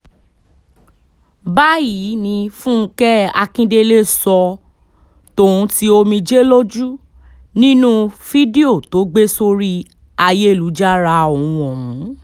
báyìí ni fúnkẹ́ akíndélé sọ ọ́ tòun ti omijé lójú nínú fídíò tó gbé sórí ayélujára ọ̀hún ọ̀hún